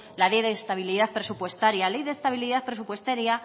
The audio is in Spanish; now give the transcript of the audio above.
la ley de estabilidad presupuestaria ley de estabilidad presupuestaria